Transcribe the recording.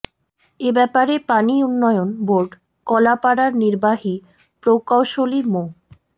এ ব্যাপারে পানি উন্নয়ন বোর্ড কলাপাড়ার নির্বাহী প্রকৌশলী মো